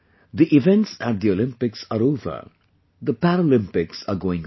The events at the Olympics are over; the Paralympics are going on